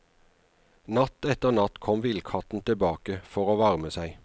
Natt etter natt kom villkatten tilbake for å varme seg.